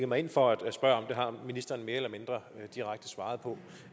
mig ind for at spørge har ministeren mere eller mindre direkte svaret på